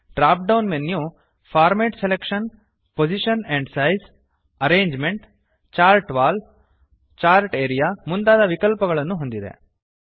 drop down menu format selection position and size arrangement chart wall chart area ಮುಂತಾದ ವಿಕಲ್ಪಗಳನ್ನು ಹೊಂದಿದೆ